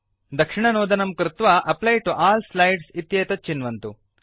दक्षिणनोदनं कृत्वा apply to all slides इत्येतत् चिन्वन्तु